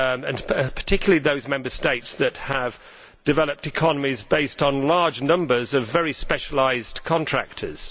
This applies particularly to those Member States that have developed economies based on large numbers of very specialised contractors.